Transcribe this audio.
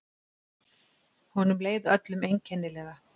Honum leið öllum einkennilega.